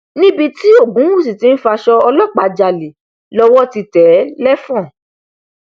níbi tí ògúnwúsì tí ń faṣọ ọlọpàá jalè lọwọ ti tẹ ẹ lẹfọn